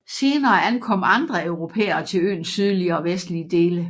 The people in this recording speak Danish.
Senere ankom andre europæere til øens sydlige og vestlige dele